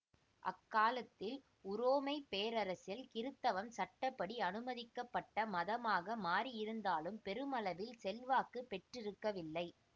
அக்காலத்தில் உரோமை பேரரசில் கிறித்தவம் சட்ட படி அனுமதிக்கப்பட்ட மதமாக மாறியிருந்தாலும் பெருமளவில் செல்வாக்கு பெற்றிருக்கவில்லை